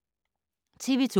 TV 2